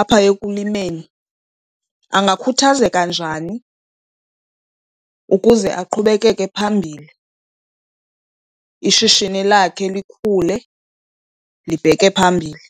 apha ekulimeni angakukhuthazeka njani ukuze aqhubekeke phambili, ishishini lakhe likhule libheke phambili.